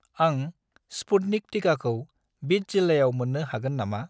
आं स्पुटनिक टिकाखौ बिद जिल्लायाव मोन्नो हागोन नामा?